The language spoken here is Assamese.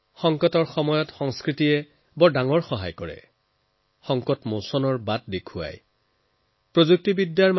সংকটৰ সময়ত সংস্কৃতি যথেষ্ট কামত আহে আৰু সংকটৰ মোকাবিলা কৰাত গুৰুত্বপূৰ্ণ ভূমিকা পালন কৰে